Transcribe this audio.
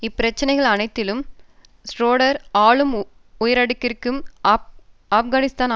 இப்பிரச்சினைகள் அனைத்திலும் ஷ்ரோடர் ஆளும் உயரடுக்கிற்கு ஆப்கானிஸ்தானில்